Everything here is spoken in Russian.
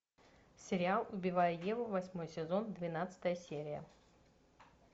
сериал убивая еву восьмой сезон двенадцатая серия